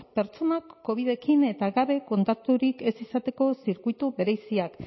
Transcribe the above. pertsonak covidarekin eta gabe kontakturik ez izateko zirkuitu bereziak